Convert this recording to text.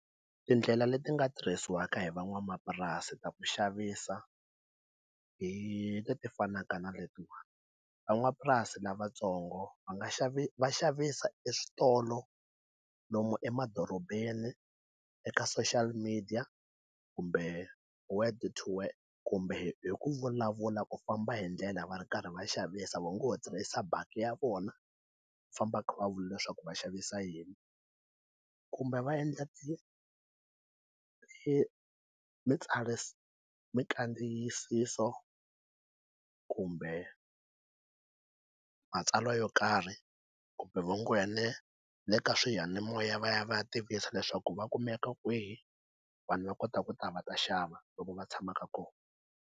Tindlela leti nga tirhisiwaka hi van'wamapurasi ta ku xavisa hi leti fanaka na letiwani van'wamapurasi lavatsongo va nga xavi va xavisa eswitolo lomu emadorobeni eka social media kumbe word to word kumbe hi ku vulavula ku famba hi ndlela va ri karhi va xavisa va ngo ho tirhisa bakkie ya vona ku famba va vula leswaku va xavisa yini kumbe va endla mikandziyiso kumbe matsalwa yo karhi kumbe vutshunguri bya le le ka swiyanimoya va ya va ya tivisa leswaku va kumeka kwihi vanhu va kota ku ta va ta xava loko va tshamaka kona.